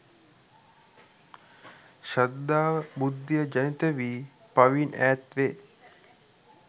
ශ්‍රද්ධාව, බුද්ධිය ජනිතවී පවින් ඈත්වේ.